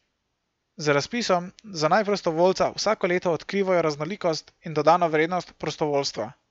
Z razpisom za naj prostovoljca vsako leto odkrivajo raznolikost in dodano vrednost prostovoljstva.